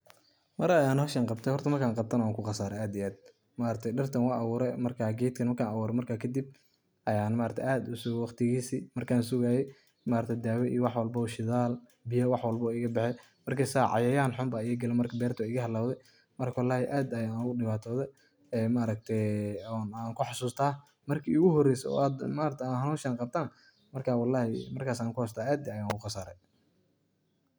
Mar Aya hooshan Qabtay markan qabtanah wanku qasaray aad iyo aad, maargtay dirtan wan abuuray marka keetgan marka abuuray marka kadib Aya maargtay aad u sugay waqdikesa markan sugaye maargtahay dawo iyo waxwalbo dathal iyo beyo waxwalbo iga baxeen markasa cayayhan xun iga kalen markas beerta iga hawalwe marka wallhi aad Aya ugu diwantothe maargtay wax kaxasustah marki igu horeysay waxan hooshan Qabtoh markas Aya kaxasustah aad Aya ugu qasaray.